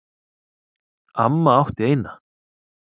Amma átti eina.